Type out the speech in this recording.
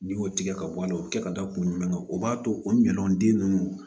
N'i y'o tigɛ ka bɔ a la o kɛ ka da kun jumɛn kan o b'a to o ɲɔn den nunnu